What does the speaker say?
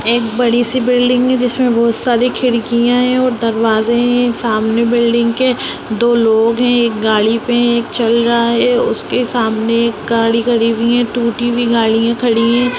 एक बड़ी-सी बिल्डिंग है जिसमें बहुत सारी खिड़कियाँ हैं और दरवाजे हैं ये सामने बिल्डिंग के दो लोग हैं एक गाड़ी पे है एक चल रहा है उसके सामने एक गाड़ी खड़ी हुई है टूटी हुई गाड़ियाँ खड़ी हैं।